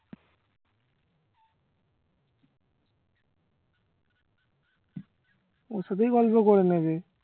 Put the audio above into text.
ওর সাথেই গল্প করে নেবে